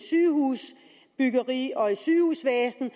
sygehusvæsen